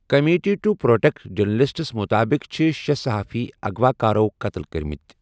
Committee to Protect Journalists مُطٲبِق چھِ شے٘ صحافی اغوا کارَو قتل کٔرمٕتۍ ۔